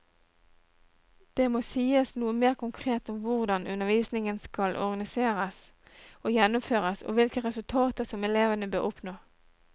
Det må sies noe mer konkret om hvordan undervisningen skal organiseres og gjennomføres, og hvilke resultater som elevene bør oppnå.